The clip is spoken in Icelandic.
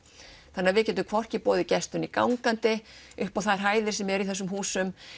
þannig að við getum hvorki boðið gestum né gangandi upp á þær hæðir sem eru í þessum húsum